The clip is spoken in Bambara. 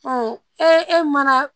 e mana